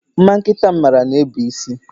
Mma nkịta m mara na-ebu isi